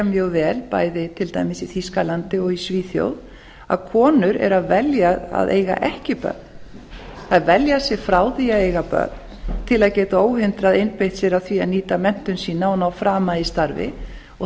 mjög vel bæði til dæmis í þýskalandi og í svíþjóð að konur eru að velja að eiga ekki börn þeir velja sig frá því að eiga börn til að geta óhindrað einbeitt sér að því að nýta menntun sína og ná frama í starfi og